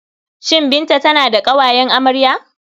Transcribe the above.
Shin Binta tana da ƙawayen amarya?